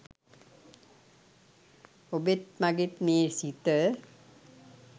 ඔබෙත් මගෙත් මේ සිත